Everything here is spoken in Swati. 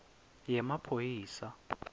yemaphoyisa